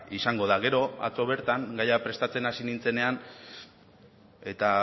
izango da gero atzo bertan gaia prestatzen hasi nintzenean eta